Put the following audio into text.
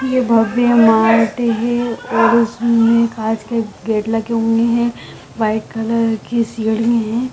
यह भव्य मार्ट है और उसमें कांच के गेट लगे हुए हैं व्हाइट कलर की सीढ़ी है।